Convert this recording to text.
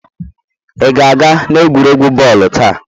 Ị ga-aga n'egwuregwu bọọlụ taa?